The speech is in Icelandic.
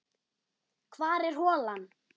Hvar er holan?